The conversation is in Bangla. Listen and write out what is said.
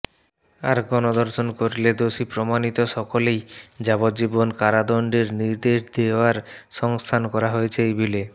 আর গণধর্ষণ করলে দোষী প্রমাণিত সকলেই যাবজ্জীবন কারাদন্ডের নির্দেশ দেওয়ার সংস্থান করা হয়েছে ওই বিলে